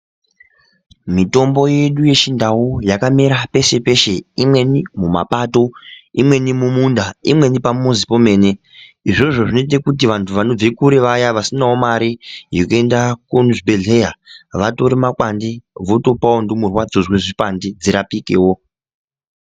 Mitombo yedu yechindau yakamera peshe peshe imweni mumapato imweni mumunda imweni pamuzi pemene izvozvo zvinoita kuti vantu vanobve kure vaya vasine mare yekuenda kuzvibhehleya vatore makwande votopawo ndumurwa dzonzwe zvipande dzirapikewo.